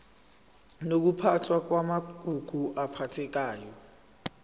nokuphathwa kwamagugu aphathekayo